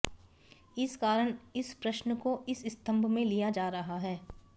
इस कारण इस प्रश्न को इस स्तम्भ में लिया जा रहा है